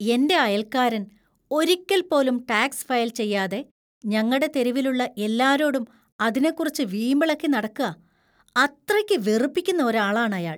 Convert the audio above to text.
എന്‍റെ അയൽക്കാരൻ ഒരിക്കൽപ്പോലും ടാക്സ് ഫയൽ ചെയ്യാതെ ഞങ്ങടെ തെരുവിലുള്ള എല്ലാരോടും അതിനെക്കുറിച്ച് വീമ്പിളക്കി നടക്കാ. അത്രയ്ക്ക് വെറുപ്പിക്കുന്ന ഒരാളാണ് അയാൾ .